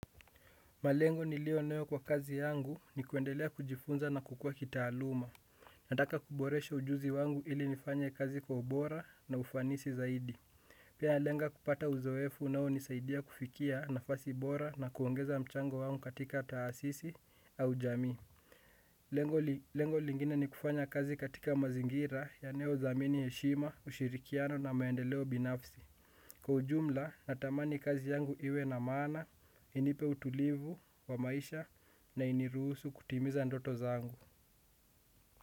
Malengo niliyo nayo kwa kazi yangu ni kuendelea kujifunza na kukua kitaaluma. Nataka kuboresha ujuzi wangu ili nifanye kazi kwa ubora na ufanisi zaidi. Pia nalenga kupata uzoefu unaonisaidia kufikia nafasi bora na kuongeza mchango wangu katika taasisi au jamii. Lengo lingine ni kufanya kazi katika mazingira yanayodhamini heshima, ushirikiano na maendeleo binafsi. Kwa ujumla natamani kazi yangu iwe na maana inipe utulivu wa maisha na iniruhusu kutimiza ndoto zangu.